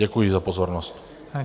Děkuji za pozornost.